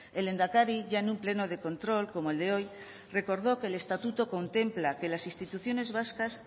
el lehendakari ya en un pleno de control como el de hoy recordó que el estatuto contempla que las instituciones vascas